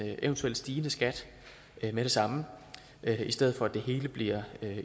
eventuelt stigende skat med det samme i stedet for at det hele bliver